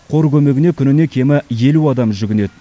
қор көмегіне күніне кемі елу адам жүгінеді